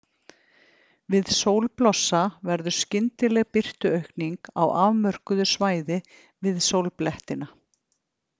Við sólblossa verður skyndileg birtuaukning á afmörkuðu svæði við sólblettina.